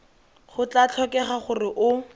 go tla tlhokega gore o